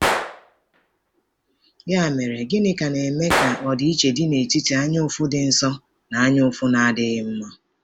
Ya mere, gịnị ka na-eme ka ọdịiche dị n’etiti anyaụfụ dị nsọ na anyaụfụ na-adịghị mma?